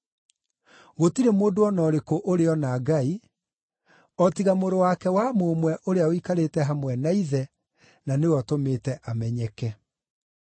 Gũtirĩ mũndũ o na ũrĩkũ ũrĩ ona Ngai, o tiga Mũrũ wake wa Mũmwe ũrĩa ũikarĩte hamwe na Ithe, na nĩwe ũtũmĩte amenyeke.